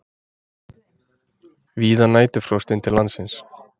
Víða næturfrost inn til landsins